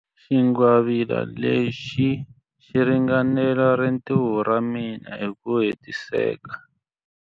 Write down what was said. Xingwavila lexi xi ringanela rintiho ra mina hi ku hetiseka.